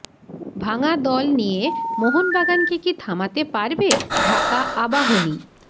ভাঙা দল নিয়ে মোহনবাগানকে কি থামাতে পারবে ঢাকা আবাহনী